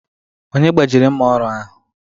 Onye gbajiri mma ọrụ ahụ?